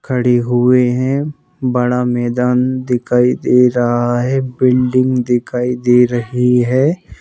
खड़े हुए हैं बड़ा मैदान दिखाई दे रहा है बिल्डिंग दिखाई दे रही है।